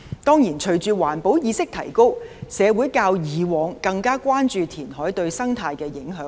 當然，隨着環保意識提高，社會較以往更關注填海對生態的影響。